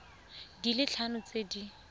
di le tharo tse di